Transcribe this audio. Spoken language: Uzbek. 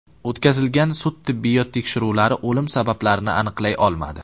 O‘tkazilgan sud-tibbiyot tekshiruvlari o‘lim sabablarini aniqlay olmadi.